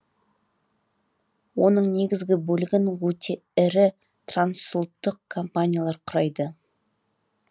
оның негізгі бөлігін өте ірі трансұлттық компаниялар құрайды